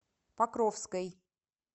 покровской